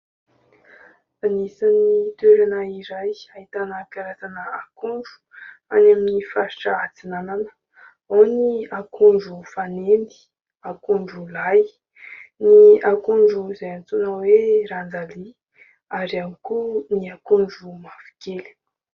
Anisany toerana izay ahitana karazana akondro any amin'ny faritra Antsinanana. Ao ny akondro fanendy, akondro lahy, ny akondro izay antsoina hoe ranjalia, ary ihany koa ny akondro mavokely.